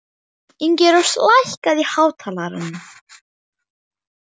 Ingirós, lækkaðu í hátalaranum.